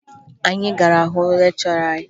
Anyị gara hụ lekchọra anyị